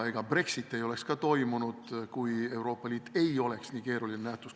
Ega Brexit ei oleks toimunud, kui Euroopa Liit ei oleks nii keeruline nähtus.